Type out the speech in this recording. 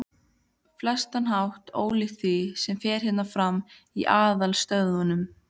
flestan hátt ólíkt því, sem fer fram hérna í aðalstöðvunum.